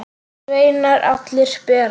Sveinar allir bera.